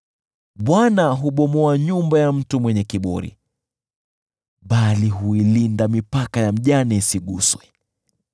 Bwana hubomoa nyumba ya mtu mwenye kiburi, bali huilinda mipaka ya mjane isiguswe.